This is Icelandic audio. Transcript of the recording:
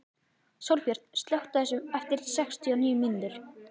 Sólbjört, slökktu á þessu eftir sextíu og níu mínútur.